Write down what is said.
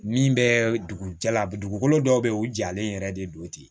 Min bɛ dugu jalabugu dɔw bɛ yen u jalen yɛrɛ de don ten